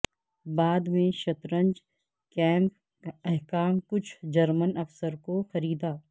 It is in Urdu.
بعد میں شطرنج کیمپ حکام کچھ جرمن افسر کو خریدا